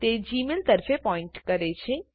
તે જીમેઈલ તરફે પોઈન્ટ કરે છે